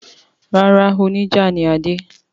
Rárá, oníjà ni Adé.